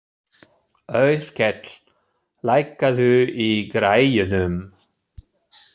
Auðkell, lækkaðu í græjunum.